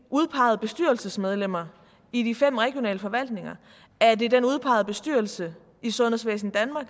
udpegede bestyrelsesmedlemmer i de fem regionale forvaltninger er det den udpegede bestyrelse i sundhedsvæsen danmark